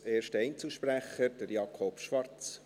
Als erster Einzelsprecher, Jakob Schwarz.